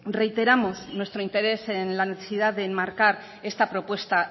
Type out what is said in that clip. reiteramos nuestro interés en la necesidad de enmarcar esta propuesta